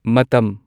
ꯃꯇꯝ